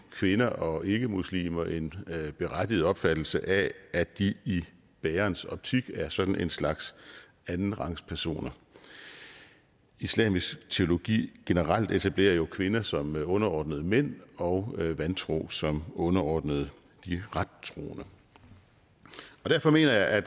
kvinder og ikkemuslimer en berettiget opfattelse af at de i bærerens optik er sådan en slags andenrangspersoner islamisk teologi generelt etablerer jo kvinder som underordnet mænd og vantro som underordnet de rettroende derfor mener jeg at